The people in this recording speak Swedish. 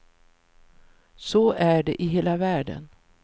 Så är det i hela världen.